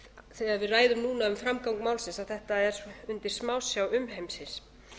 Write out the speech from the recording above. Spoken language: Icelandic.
þegar við ræðum núna um framgang málsins að þetta er undir smásjá umheimsins